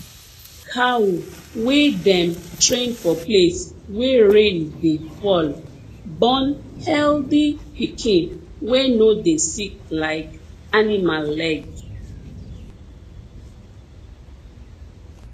cow wey dem train for place wey rain dey fall born healthy pikin wey no dey sick like animal leg